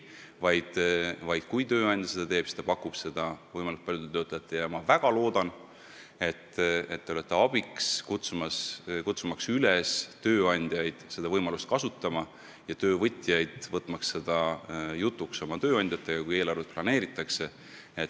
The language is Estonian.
Ma väga loodan, et te aitate tööandjaid üles kutsuda seda võimalust kasutama ja töövõtjaid tööandjatega teemat jutuks võtma, kui eelarvet planeeritakse.